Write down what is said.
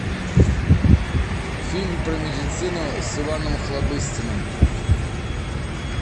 фильм про медицину с иваном охлобыстиным